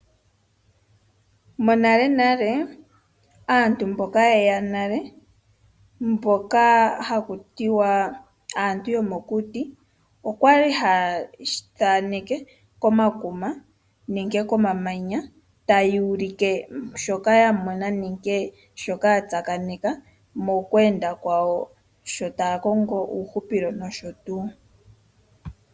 Monale nale aantu mboka ye ya nale mboka ha ku tiwa aantu yomokuti, okwali ha ya thaneke komakuma nenge komamanya taya ulike shoka ya mona nenge shoka ya tsakaneka mokwenda kwawo sho taya kongo uuhupilo.